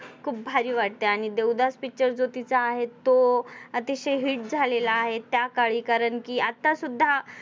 मला खूप भारी वाटतो आणि देवदास Picture जो तिचा आहे तो अतिशय hit झालेला आहे त्याकाळी कारण आता सुद्धा